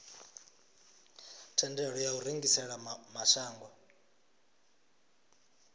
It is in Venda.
thendelo ya u rengisela mashango